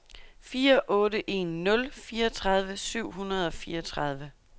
fire otte en nul fireogtredive syv hundrede og fireogtredive